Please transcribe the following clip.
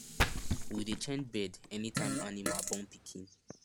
we dey change bed anytime animal born pikin